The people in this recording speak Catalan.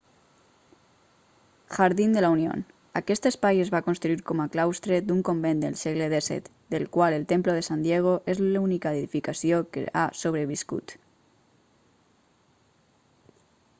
jardín de la unión aquest espai es va construir com a claustre d'un convent del segle xvii del qual el templo de san diego és l'única edificació que ha sobreviscut